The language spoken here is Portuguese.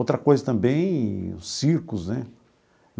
Outra coisa também, os circos né.